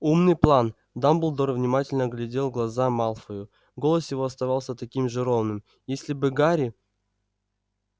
умный план дамблдор внимательно глядел в глаза малфою голос его оставался таким же ровным если бы гарри